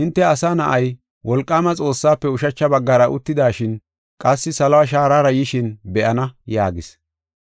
hinte Asa Na7ay, wolqaama Xoossaafe ushacha baggara uttidashin qassi saluwa shaarara yishin be7ana” yaagis.